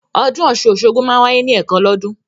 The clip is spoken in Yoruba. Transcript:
Ọdún Ọ̀sun-Osogbo máa ń wáyé ní ẹ̀kan lọ́dún